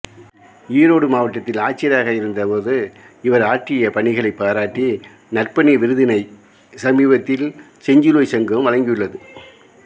ஈரோடு மாவட்டத்தில் ஆட்சியராக இருந்த போது இவர் ஆற்றிய பணிகளை பாராட்டி நற்பணி விருதினை சமிபத்தில் செஞ்சிலுவை சங்கம் வழங்கியுள்ளது